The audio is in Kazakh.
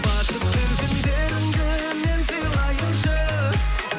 бақытты күндеріңді мен сыйлайыншы